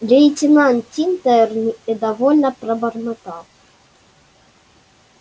лейтенант тинтер недовольно пробормотал